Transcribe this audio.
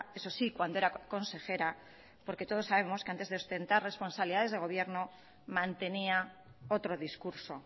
eso sí cuando era consejera porque todos sabemos que antes de ostentar responsabilidades de gobierno mantenía otro discurso